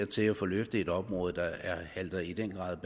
til at få løftet et område der i den grad